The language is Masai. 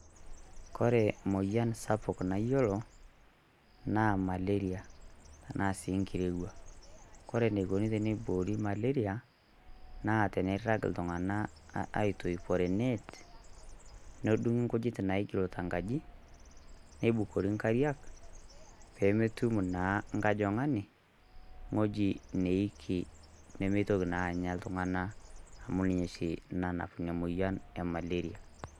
Kore moyian sapuk naiyiolo naa maleria tana sii nkirewua. Kore naikoni tenebuori maleria naa teneiraang' iltung'ana eitoiboree eneet', nedung'i nkujiit naijilita nkaji, neibukori nkairiak pee metuum naa nkojong'oni ng'oji neiki nemeitoki naa anya iltung'anak amu ninye shii naanap enia moyian e maleria.